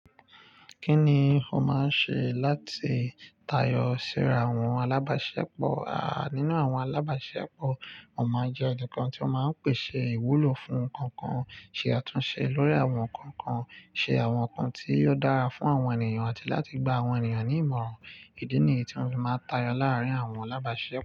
Kí ni ó máa ń ṣe láti tayọ síra àwọn alábàáṣepọ̀? À nínú àwọn alábàáṣisepọ̀, mo máa njẹ́ ẹnìkan tí ó máa ń pèsè ìwúlò fún ǹkan kan, ṣe àtúnṣe lórí àwọn ǹkan kan, ṣe àwọn ǹkan tí yóò dára fún àwọn ènìyàn àti láti gba àwọn ènìyàn ní ìmọ̀ràn. Ìdí ni èyí tí mó fi máa ń tayọ láàárín àwọn alábàáṣepọ̀